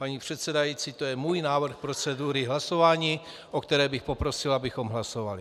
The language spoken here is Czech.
Paní předsedající, to je můj návrh procedury hlasování, o kterém bych poprosil, abychom hlasovali.